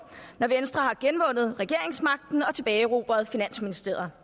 når venstre har generobret regeringsmagten og tilbageerobret finansministeriet